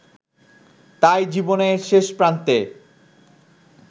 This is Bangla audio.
তাই জীবনের শেষ প্রান্তে